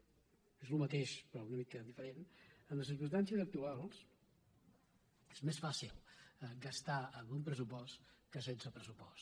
és el mateix pe·rò una mica diferent amb les circumstàncies actuals és més fàcil gastar amb un pressupost que sense pres·supost